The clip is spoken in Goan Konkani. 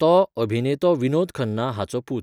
तो, अभिनेतो विनोद खन्ना हाचो पूत.